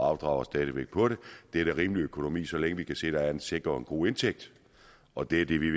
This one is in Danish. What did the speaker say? afdrager stadig væk på det det er da rimelig økonomi så længe vi kan se der er en sikker og god indtægt og det er det vi